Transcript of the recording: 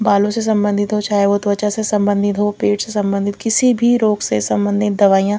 बालों से संबंधित हो चाहे वो त्वचा से संबंधित हो पेट से संबंधित किसी भी रोग से संबंधित दवाइयां--